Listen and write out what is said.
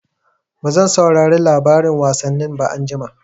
Bazan saurari labarin wasanni ba anjima.